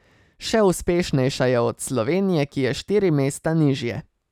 Še uspešnejša je od Slovenije, ki je štiri mesta nižje.